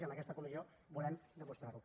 i amb aquesta comissió volem demostrar ho